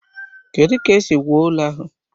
Kedu ka esi wuo ụlọ ahụ?